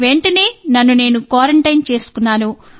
వెంటనే నన్ను నేను క్వారంటైన్ చేసుకున్నాను